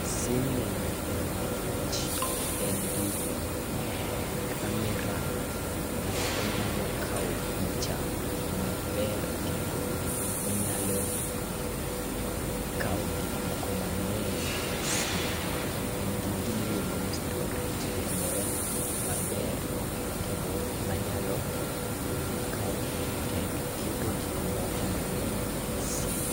Sim ni ahero nikech en gi kamera kata onyalo kawo picha maber kendo onyalo kawo gik moko mang'eny e sim .En gi gimiluongo ni storage moro maber kendo manyalo kawo kendo keto gik moko mang'eny e sim